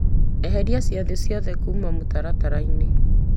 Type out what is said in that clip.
eheria ciathĩ ciakwa ciothe kuma mũtaratara-inĩ